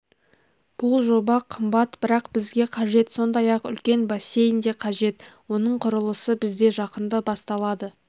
бұл жоба қымбат бірақ бізге қажет сондай-ақ үлкен бассейн де қажет оның құрылысы бізде жақында басталады